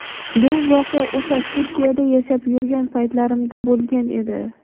Bu voqea o‘sha Turkiyada yashab yurgan paytlarimda bo‘lgan edi.